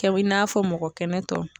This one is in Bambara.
Kɛ i n'a fɔ mɔgɔ kɛnɛ tɔ